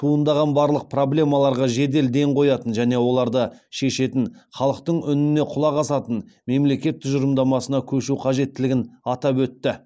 туындаған барлық проблемаларға жедел ден қоятын және оларды шешетін халықтың үніне құлақ асатын мемлекет тұжырымдамасына көшу қажеттілігін атап өтті